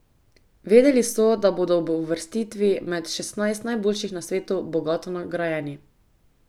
Vedeli so, da bodo ob uvrstitvi med šestnajst najboljših na svetu bogato nagrajeni.